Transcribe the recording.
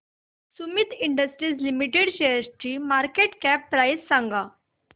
Sumeet industries limited शेअरची market cap price सांगा